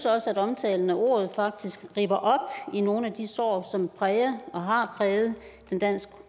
også at omtalen af ordet ripper op i nogle af de sår som præger og har præget den dansk